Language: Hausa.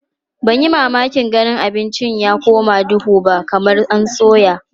Ban yi mamakin ganin abincin ya koma duhu ba kamar an soya.